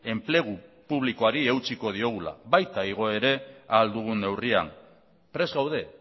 enplegu publikoari eutsiko diogula baita igo ere ahal dugun neurrian prest gaude